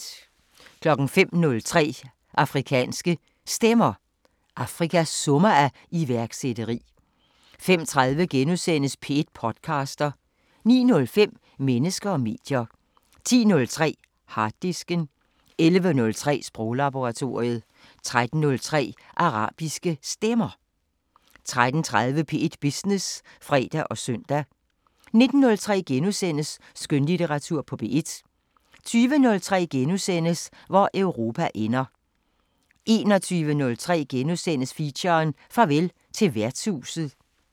05:03: Afrikanske Stemmer: Afrika summer af iværksætteri 05:30: P1 podcaster * 09:05: Mennesker og medier 10:03: Harddisken 11:03: Sproglaboratoriet 13:03: Arabiske Stemmer 13:30: P1 Business (fre og søn) 19:03: Skønlitteratur på P1 * 20:03: Hvor Europa ender * 21:03: Feature: Farvel til værtshuset *